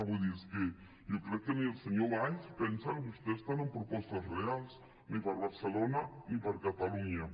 vull dir és que jo crec que ni el senyor valls pensa que vostès tenen propostes reals ni per a barcelona ni per a catalunya